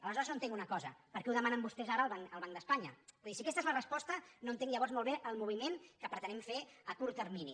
aleshores no entenc una cosa per què ho demanen vostès ara al banc d’espanya vull dir si aquesta és la resposta no entenc llavors molt bé el moviment que pretenem fer a curt termini